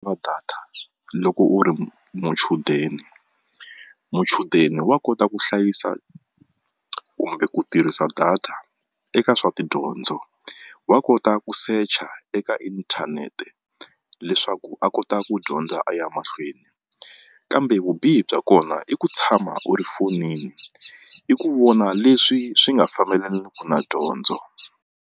data loko u ri muchudeni muchudeni wa kota ku hlayisa kumbe ku tirhisa data eka swa tidyondzo wa kota ku secha eka inthanete leswaku a kota ku dyondza a ya mahlweni kambe vubihi bya kona i ku tshama u ri fonini i ku vona leswi swi nga fambelaniku na dyondzo.